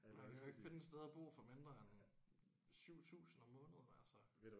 Man kan jo ikke finde et sted at bo for mindre end 7000 om måneden altså